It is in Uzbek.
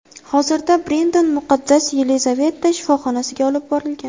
Hozirda Brendon Muqaddas Yelizaveta shifoxonasiga olib borilgan.